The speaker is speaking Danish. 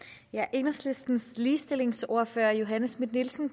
enhedslistens ligestillingsordfører fru johanne schmidt nielsen